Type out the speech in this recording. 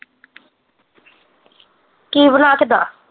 ਕੀ ਬਣਾ ਕੇ ਦੇਆਂ